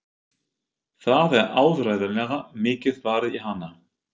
Það er áreiðanlega mikið varið í hana.